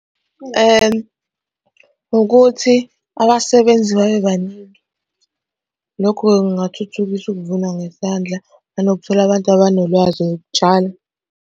Ukuthi abasebenzi babebaningi. Lokhu-ke kungathuthukisa ukuvuna ngesandla nanokuthola abantu abanolwazi lokutshala.